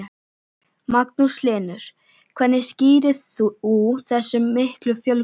Magnús Hlynur: Hvernig skýrir þú þessa miklu fjölgun?